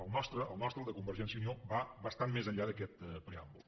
el nostre el de convergència i unió va bastant més enllà d’aquest preàmbul